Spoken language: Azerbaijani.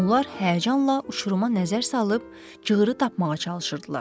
Onlar həyəcanla uçuruma nəzər salıb, cığırı tapmağa çalışırdılar.